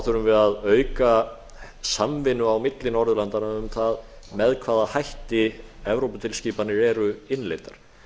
þurfum við að auka samvinnu á milli norðurlandanna um það með hvaða hætti evróputilskipanir eru innleiddar